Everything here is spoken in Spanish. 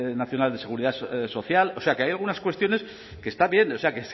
nacional de seguridad social o sea que hay algunas cuestiones que está bien o sea